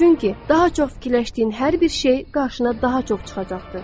Çünki daha çox fikirləşdiyin hər bir şey qarşına daha çox çıxacaqdır.